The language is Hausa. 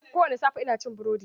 Ko wani safe, ina cin burodi.